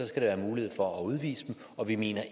skal være mulighed for at udvise dem og vi mener